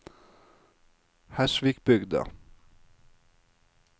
Hersvikbygda